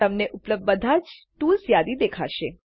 તમને ઉપલબ્ધ બધા જ ટૂલ્સની યાદી દેખાશે